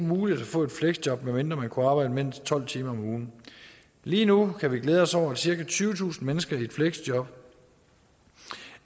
muligt at få et fleksjob medmindre man kunne arbejde mindst tolv timer om ugen lige nu kan vi glæde os over at cirka tyvetusind mennesker i et fleksjob